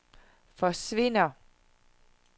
forsvinder